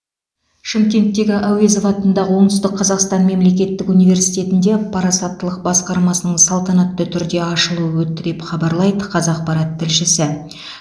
шымкенттегі әуезов атындағы оңтүстік қазақстан мемлекеттік университетінде парасаттылық басқармасының салтанатты түрде ашылуы өтті деп хабарлайды қазақпарат тілшісі